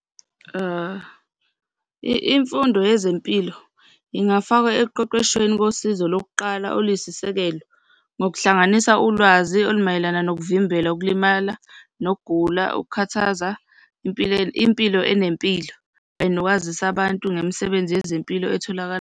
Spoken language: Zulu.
Imfundo yezempilo ingafakwa ekuqeqeshweni kosizo lokuqala oluyisisekelo ngokuhlanganisa ulwazi olumayelana nokuvimbela ukulimala, nokugula, ukukhathaza impilo enempilo and nokwazisa abantu ngemisebenzi yezempilo etholakala.